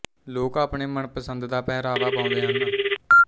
ਲੋਕ ਆਪਣੇ ਮਨ ਪਸੰਦ ਦਾ ਪਹਿਰਾਵਾ ਪਾਉਂਦੇ ਹਨ